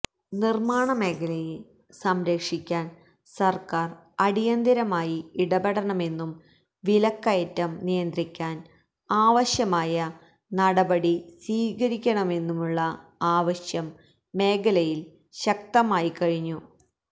നിര്മാണമേഖലയെ സംരക്ഷിക്കാന് സര്ക്കാര് അടിയന്തരമായി ഇടപെടണമെന്നും വിലക്കയറ്റം നിയന്ത്രിക്കാന് ആവശ്യമായനടപടി സ്വീകരിണമെന്നുമുള്ള ആവശ്യം മേഖലയില് ശക്തമായിക്കഴിഞ്ഞു